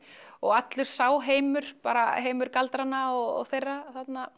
og allur sá heimur bara heimur galdranna og þeirra